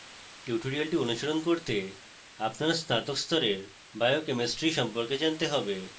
tutorial অনুসরণ করতে আপনার স্নাতক স্তরের biochemistry সম্পর্কে জানতে have